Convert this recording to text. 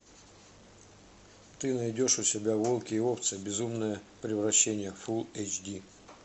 ты найдешь у себя волки и овцы безумное превращение фул эйч ди